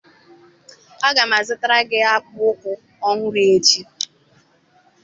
Aga m azụtara gị akpụkpọ ụkwụ ọhụrụ echi